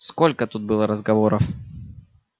сколько тут было разговоров